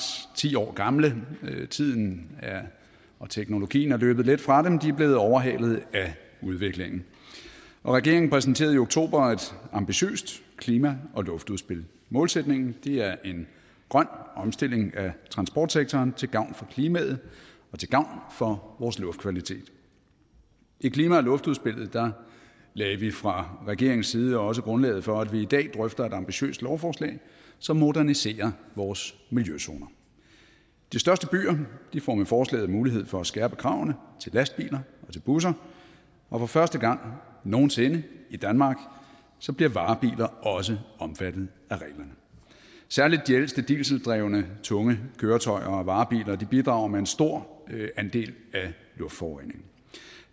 ti år gamle tiden og teknologien er løbet lidt fra dem de er blevet overhalet af udviklingen regeringen præsenterede i oktober et ambitiøst klima og luftudspil målsætningen er en grøn omstilling af transportsektoren til gavn for klimaet og til gavn for vores luftkvalitet i klima og luftudspillet lagde vi fra regeringens side også grundlaget for at vi i dag drøfter et ambitiøst lovforslag som moderniserer vores miljøzoner de største byer får med forslaget mulighed for at skærpe kravene til lastbiler og til busser og for første gang nogen sinde i danmark bliver varebiler også omfattet af reglerne særlig de ældste dieseldrevne tunge køretøjer og varebiler bidrager med en stor andel af luftforureningen